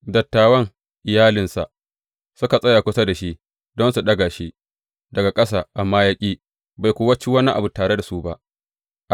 Dattawan iyalinsa suka tsaya kusa da shi don su ɗaga shi daga ƙasa, amma ya ƙi, bai kuwa ci wani abu tare da su ba.